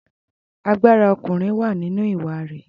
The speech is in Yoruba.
Agbára ọkùnrin wà nínú ìwà rẹ̀.